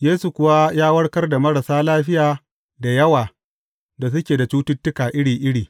Yesu kuwa ya warkar da marasa lafiya da yawa da suke da cututtuka iri iri.